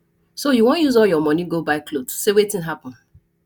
so you wan use all your money go buy cloth say wetin happen